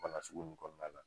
baga sugu nn kɔɔna la